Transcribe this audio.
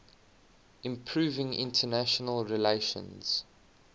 improving international relations